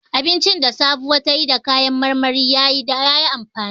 Abincin da Sabuwa ta yi da kayan marmari ya yi amfani.